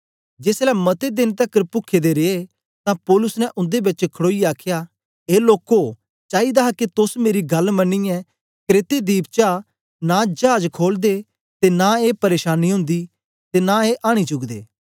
जेसलै मते देन तकर पुखे दे रिये तां पौलुस ने उन्दे बेच खड़ोईयै आखया ए लोको चाईदा हा के तोस मेरी गल्ल मनियै क्रेते दीप चा नां चाज खोलदे ते नां ए प्रेशानी ओंदी ते नां ए आनी चुकदे